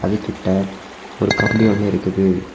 அது கிட்ட ஒரு கம்பி ஒன்னு இருக்குது.